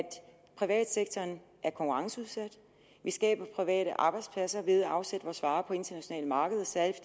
privatsektoren er konkurrenceudsat at vi skaber private arbejdspladser ved at afsætte vores varer på internationale markeder særlig